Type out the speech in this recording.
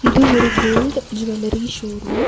இது ஒரு gold jewellery showroom .